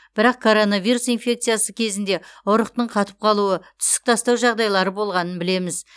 бірақ коронавирус инфекциясы кезінде ұрықтың қатып қалуы түсік тастау жағдайлары болғанын білеміз